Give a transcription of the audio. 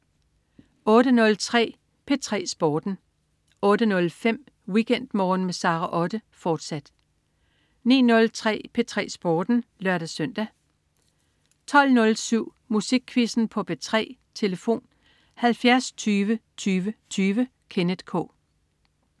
08.03 P3 Sporten 08.05 WeekendMorgen med Sara Otte, fortsat 09.03 P3 Sporten (lør-søn) 09.05 Mads & Monopolet. Mads Steffensen 12.05 P3 Sporten (lør-søn) 12.07 Musikquizzen på P3. Tlf.: 70 20 20 20. Kenneth K